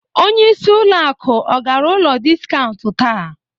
Onyeisi ụlọakụ ọ gara ụlọ dịskaunt taa?